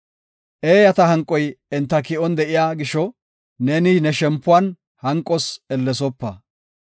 Eeyata hanqoy enta ki7on de7iya gisho, neeni ne shempuwan hanqos ellesopa.